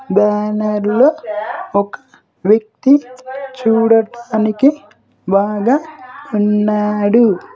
బ్యానర్లో ఒక వ్యక్తి చూడటానికి బాగా ఉన్నాడు.